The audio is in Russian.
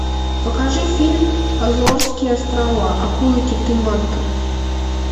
покажи фильм азорские острова акулы киты манты